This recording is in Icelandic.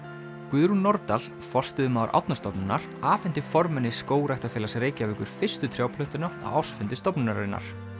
Guðrún Nordal forstöðumaður Árnastofnunar afhenti formanni Skógræktarfélags Reykjavíkur fyrstu á ársfundi stofnunarinnar